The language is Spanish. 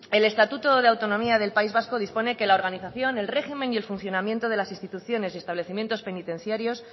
el estatuto de autonomía del país vasco dispone que la organización el régimen y el funcionamiento de las instituciones establecimientos penitenciarios